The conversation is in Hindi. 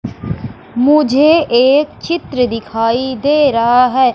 मुझे एक चित्र दिखाई दे रहा हैं।